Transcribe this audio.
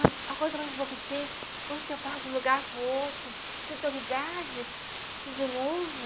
Mas a coisa mais boa que tem, quando você passa de um lugar para o outro, tudo novidade, tudo novo.